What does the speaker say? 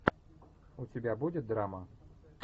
у тебя будет драма